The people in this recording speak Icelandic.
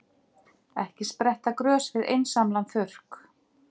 Ekki spretta grös við einsamlan þurrk.